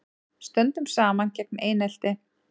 Stöndum saman gegn einelti